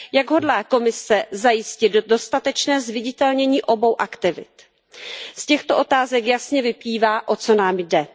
Jak hodlá Komise zajistit dostatečné zviditelnění obou aktivit? Z těchto otázek jasně vyplývá, o co nám jde.